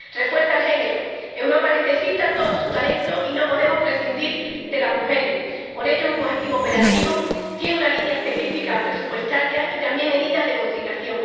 Refuerza el género Europa necesita todo su talento y no podemos prescindir de las mujeres. Por ello, es un objetivo operativo, tiene una línea específica presupuestaria y también medidas de conciliación.